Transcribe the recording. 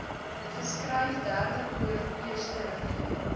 geskryf derdepoort eersterivier